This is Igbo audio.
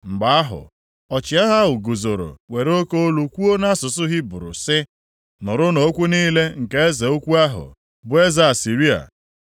Mgbe ahụ, ọchịagha ahụ guzoro were oke olu kwuo nʼasụsụ Hibru, sị, “Nụrụnụ okwu niile nke eze ukwu ahụ, bụ eze Asịrịa.